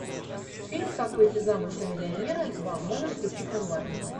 фильм как выйти замуж за миллионера два можешь включить онлайн